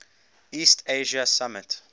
east asia summit